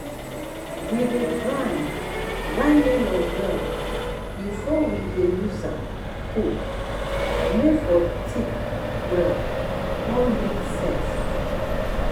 we dey grind grind melon well before wey dey use am cook may for thick well con make sense